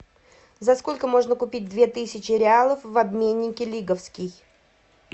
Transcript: за сколько можно купить две тысячи реалов в обменнике лиговский